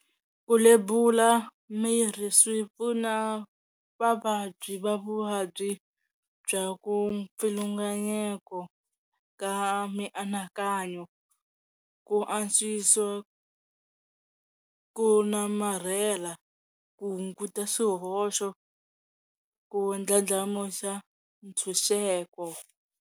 Ku lebula mirhi swi pfuna vavabyi va vuvabyi bya ku pfilunganyeko ka mianakanyo ku antswisa ku namarhela, ku hunguta swihoxo, ku ndlandlamuxa ntshunxeko.